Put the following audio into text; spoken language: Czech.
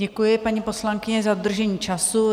Děkuji, paní poslankyně, za dodržení času.